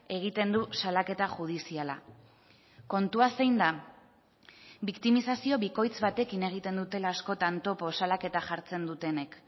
egiten du salaketa judiziala kontua zein da biktimizazio bikoitz batekin egiten dutela askotan topo salaketa jartzen dutenek